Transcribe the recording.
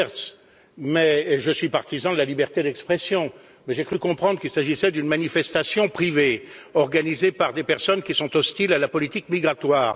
Lamberts et je suis partisan de la liberté d'expression, mais j'ai cru comprendre qu'il s'agissait d'une manifestation privée organisée par des personnes qui sont hostiles à la politique migratoire.